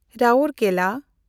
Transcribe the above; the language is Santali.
ᱨᱟᱣᱳᱨᱠᱮᱞᱟ